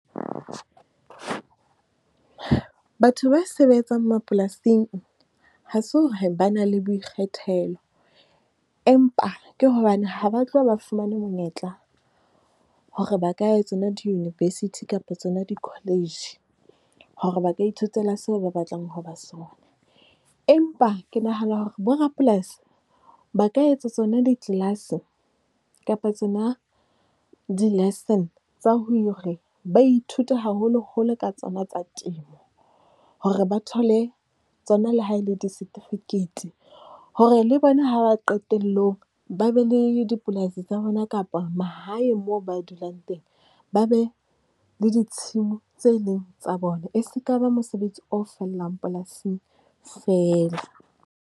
Batho ba sebetsang mapolasing ha se hore ba na le boikgethelo, empa ke hobane ha ba tloha ba fumane monyetla hore ba ka tsona di-university kapa tsona di-college hore ba ka ithutela seo ba batlang ho ba sona. Empa ke nahana hore borapolasi ba ka etsa tsona ditlelase kapa tsona di-licence tsa hore ba ithute haholoholo ka tsona tsa temo. Hore ba thole tsona le ha e le di setifikeiti hore le bona ha ba qetelle ho ba be le dipolasi tsa bona kapa mahae moo ba dulang teng, ba be le ditshimo tse leng tsa bona. E seka ba mosebetsi o fellang polasing feela.